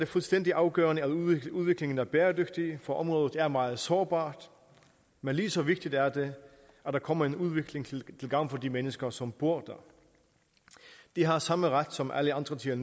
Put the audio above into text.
fuldstændig afgørende at udviklingen er bæredygtig for området er meget sårbart men lige så vigtigt er det at der kommer en udvikling til gavn for de mennesker som bor der de har samme ret som alle andre til